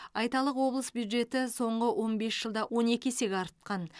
айталық облыс бюджеті соңғы он бес жылда он екі есеге артқан